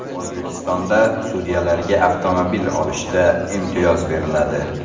O‘zbekistonda sudyalarga avtomobil olishda imtiyoz beriladi.